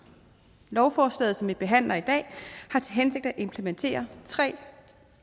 lovforslaget som vi behandler i dag har til hensigt at implementere tre